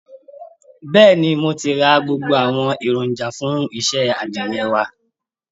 Bẹ́ẹ̀ ni, mo ti ra gbogbo àwọn èròjà fún iṣẹ́ àdìrẹ wa